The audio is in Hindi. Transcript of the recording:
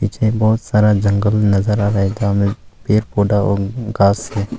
पिछले बहुत सारा जंगल नजर आ रहा है में और मोटा मोटा